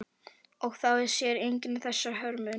Og þá sér enginn þessa hörmung.